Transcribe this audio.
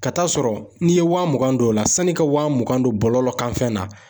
Ka taa sɔrɔ, n'i ye wa mugan don o la, sanni i ka wa mugan don bɔlɔlɔ kan fɛn na